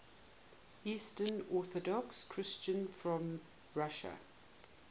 eastern orthodox christians from russia